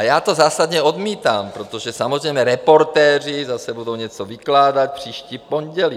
A já to zásadně odmítám, protože samozřejmě Reportéři zase budou něco vykládat příští pondělí.